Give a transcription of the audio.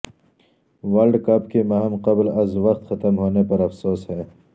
world Cup کی مہم قبل از وقت ختم ہونے پر افسوس ہے